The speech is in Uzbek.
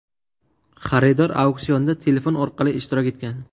Xaridor auksionda telefon orqali ishtirok etgan.